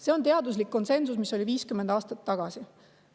See oli teaduslik konsensus, mis oli 50 aastat tagasi.